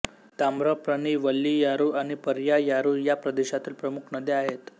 ताम्रप्रनी वल्लीयारू आणि पर्यायारू या प्रदेशातील प्रमुख नद्या आहेत